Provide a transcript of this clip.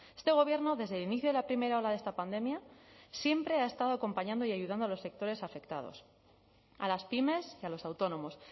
este gobierno desde el inicio de la primera ola de esta pandemia siempre ha estado acompañando y ayudando a los sectores afectados a las pymes y a los autónomos